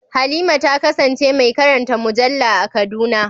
Halima ta kasance mai karanta mujalla a Kaduna.